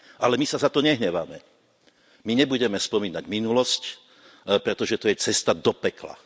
Ale my sa za to nehneváme, my nebudeme spomínať minulosť, pretože to je cesta do pekla.